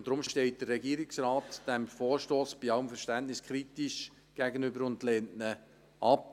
Deshalb steht der Regierungsrat diesem Vorstoss bei allem Verständnis kritisch gegenüber und lehnt ihn ab.